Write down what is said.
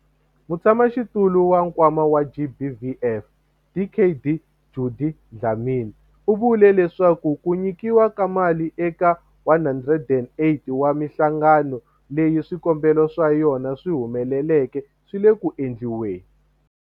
Mutshamaxitulu wa Nkwama wa GBVF, Dkd Judy Dlamini, u vule leswaku ku nyikiwa ka mali eka 108 wa mihlangano leyi swikombelo swa yona swi humeleleke swi le ku endliweni.